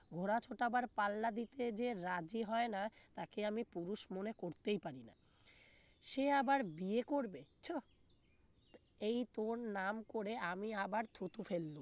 ঘোড়া ছুটাবার পাল্লা দিতে যে রাজি হয় না তাকে আমি পুরুষ মনে করতেই পারি না সে আবার বিয়ে করবে ছ এই তোর নাম করে আমি আবার থুথু ফেললুম